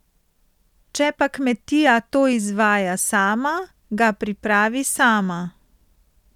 Če pa kmetija to izvaja sama, ga pripravi sama.